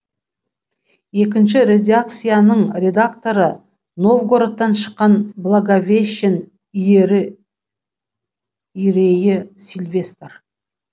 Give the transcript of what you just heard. екінші редакцияның редакторы новгородтан шыққан благовещен иерейі сильвестр